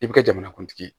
I bɛ kɛ jamanakuntigi ye